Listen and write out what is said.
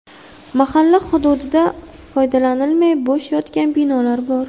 Mahalla hududida foydalanilmay bo‘sh yotgan binolar bor.